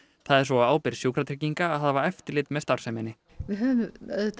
það er svo á ábyrgð Sjúkratrygginga að hafa eftirlit með starfseminni við höfum